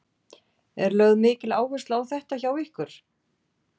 Er lögð mikil áhersla á þetta hjá ykkur?